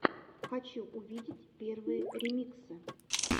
хочу увидеть первые ремиксы